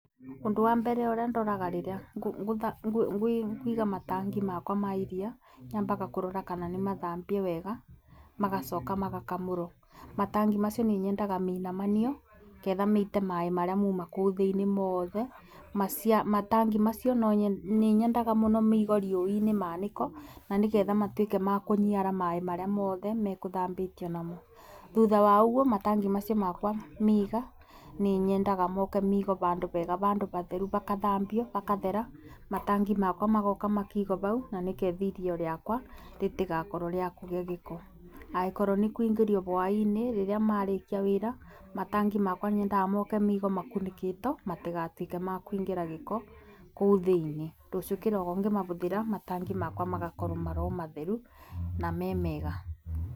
Ũndũ wa mbere ũrĩa ndoraga rĩrĩa ngũiga matangi makwa ma iria, nyambaga kũrora kana nĩ mathambie wega, magacoka magakamũrwo. Matangi macio nĩ nyendaga mainamanio getha maite maaĩ marĩa mauma kũu thĩiniĩ mothe. Matangi macio nĩ nyendaga mũno maigwo riũa-inĩ manĩkwo, na nĩ getha matuĩke ma kũniara maaĩ marĩa mothe mekũthambĩtio namo. Thutha wa ũguo matangi macio bakũmaiga nĩ nyendaga moke maigwo bandũ bega batheru bakathambio bakathera, matangi magoka makaigwo bau na nĩ ketha iria rĩakwa ritigakorwo rĩa kugĩa gĩko. Angĩkorwo nĩ kuingĩrio hwai-inĩ rĩrĩa marĩkia wĩra, matangi makwa nyendaga moke maigwo makunĩkĩtwo matigatuĩke makũingĩra gĩko kũu thĩiniĩ. Rũciũ kĩroko ngĩmabũthĩra matangi makwa magakorwo marĩ o matheru na me mega.